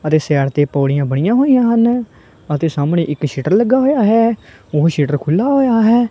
ਅਤੇ ਸਾਈਡ ਤੇ ਪੌੜੀਆਂ ਬਣਿਆਂ ਹੋਈ ਆਂ ਹਨ ਅਤੇ ਸਾਹਮਣੇ ਇੱਕ ਸ਼ਟਰ ਲੱਗਾ ਹੋਏ ਆ ਹੈ ਓਹ ਸ਼ਟਰ ਖੁੱਲਾ ਹੋਏਆ ਹੈ।